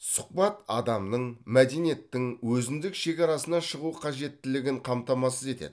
сұхбат адамның мәдениеттің өзіндік шекарасынан шығу қажеттілігін қамтамасыз етеді